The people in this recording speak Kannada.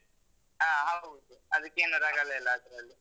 ಆ, ಹೌದು. ಅದಕ್ಕೇನೂ ರಗಳೆಯಿಲ್ಲ ಅದ್ರಲ್ಲಿ.